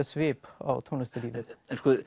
svip á tónlistarlífið